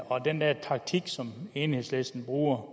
og den der taktik som enhedslisten bruger